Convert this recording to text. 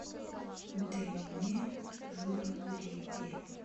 дэне журавлеве